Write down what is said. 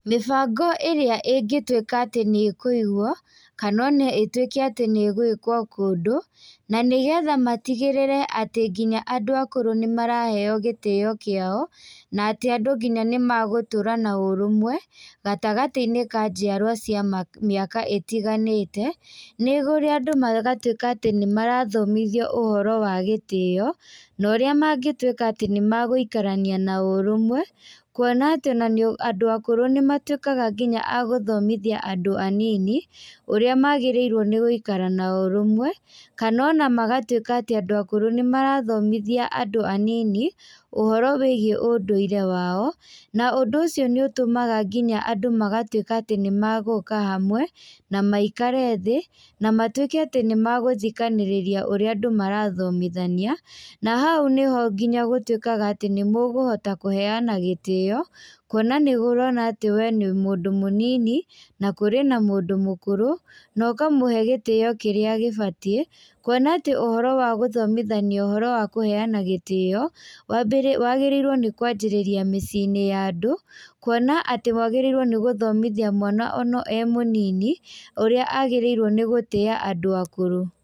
Mĩbango ĩrĩa ĩngĩ tuĩka atĩ nĩikũigwo, kana ona ĩtuĩke atĩ nĩgwĩkwo kũndũ, na nĩgetha matigĩrĩre atĩ nginya andũ akũrũ nĩmaraheo gĩtĩo kiao, na atĩ andũ nginya nĩmagũtũra na ũrũmwe, gatagatĩinĩ ka njiarwa cia ma mĩaka ĩtiganĩte, nĩ kũrĩa andũ magatuĩka atĩ nĩmarathomithio ũhoro wa gĩtĩo, na ũrĩa mangĩtuĩka atĩ nĩmagũĩkarania na ũrũmwe, kuona atĩ ona andũ akũrĩ nĩmatuĩka nginya agũthomithia andũ anini, ũrĩa magĩrĩirwo nĩgũikara na ũrũmwe, kana ona magatuĩka atĩ andũ akũrũ nĩmarathomithia andũ anini, ũhoro wĩgiĩ ũndũire wao, na ũndũ ũcio nĩũtũmaga nginya andũ magatuĩka atĩ nĩmagũka hamwe, na maikare thĩ, na matuĩke atĩ nĩmagũthikanĩrĩria ũrĩa andũ marathomithania, na hau nĩho nginya gũtuĩkaga atĩ nĩmũkũhota kũhena gĩtĩo, kuona nĩ ũrona atĩ we nĩ mũndũ mũnini, na kũrĩ na mũndũ mũkũrũ, na ũkamũhe gĩtĩo kĩrĩa gĩbatiĩ, kuona atĩ ũhoro wa gũthomithania ũhoro wa kũheana gĩtĩo, wagĩrĩirwo nĩkwanjĩrĩra mĩcĩinĩ ya andũ, kuona atĩ wagĩrĩirwo nĩ gũthomithia mwana ona e mũnini, ũrĩa agĩrĩirwo nĩ gũtĩa andũ akũrũ.